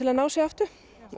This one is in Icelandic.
að ná sér aftur